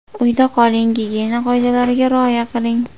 Uyda qoling, gigiyena qoidalariga rioya qiling!